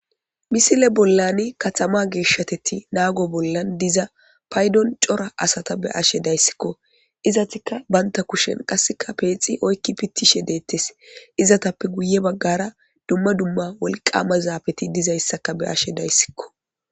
misile bollan katama geeshshateti naago bollan diza paydon cora asata be ashe dayssikko izatika baynta kushen qasseka peexi oykki pittishe deettes izatappe guye baggara dumma dumma wolqama zaabeti dizayssaka be ashe dayssikko